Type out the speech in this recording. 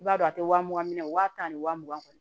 I b'a dɔn a tɛ wa mugan minɛ wa tan ni wa mugan kɔni